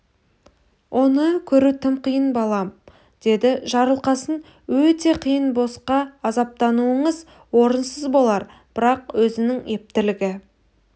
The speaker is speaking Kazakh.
оны көру тым қиын балам деді жарылқасын өте қиын босқа азаптануыңыз орынсыз болар бірақ өзінің ептілігі